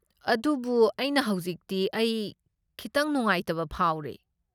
ꯑꯗꯨꯕꯨ ꯍꯧꯖꯤꯛꯇꯤ ꯑꯩ ꯈꯤꯇꯪ ꯅꯨꯡꯉꯥꯏꯇꯕ ꯐꯥꯎꯔꯦ꯫